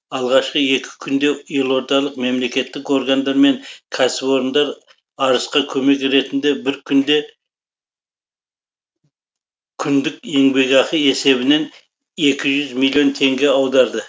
алғашқы екі күнде елордалық мемлекеттік органдар мен кәсіпорындар арысқа көмек ретінде бір күндік еңбекақы есебінен екі жүз миллион теңге аударды